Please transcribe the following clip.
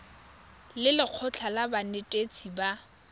le lekgotlha la banetetshi ba